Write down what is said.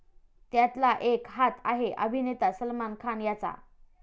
त्यातला एक हात आहे अभिनेता सलमान खान याचा.